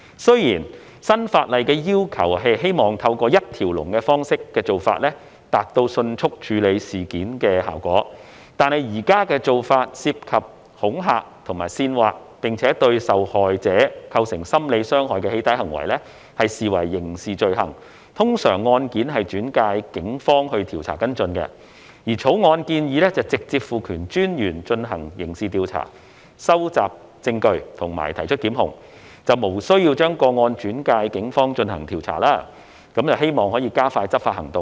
雖然新法例的要求是希望透過一條龍方式，以達致迅速處理事件的效果，但現時的做法是，涉及恐嚇或煽惑並對受害者構成心理傷害的"起底"行為，則視為刑事罪行，通常案件會轉介警方調查跟進。而《條例草案》建議直接賦權私隱專員進行刑事調查、收集證據及提出檢控，無須把個案轉介警方進行調查，希望可以加快執法行動。